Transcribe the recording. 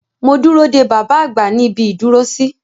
Mo dúró dé bàbá àgbà ní ibi ìdúró sí.